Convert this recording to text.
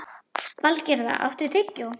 Valgerða, áttu tyggjó?